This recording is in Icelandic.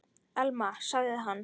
Elma- sagði hann.